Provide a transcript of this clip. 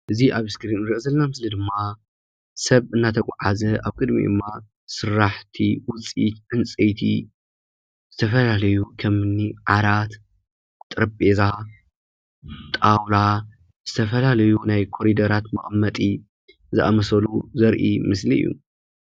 እዚ ኣብ እስክሪን ንሪኦ ዘለና ምስሊ ድማ ሰብ እናተጓዓዘ አብ ቅድሚኡ ድማ ስራሕቲ ውፅኢት ዕንፀይቲ ዝተፈላለዩ ከምኒ ዓራት ፣ ጠረጼዛ ፣ጣውላ ዝተፈላለዩ ናይ ኮሪደራት መቐመጢ ዝኣመሰሉ ዘርኢ ምስሊ እዩ፡፡